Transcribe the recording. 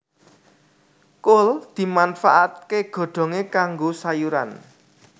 Kul dimanfaatké godhongé kanggo sayuran